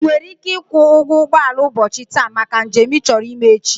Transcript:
I were ike ikwu ugwo ugboala ubochi taa maka njem i choro ime echi.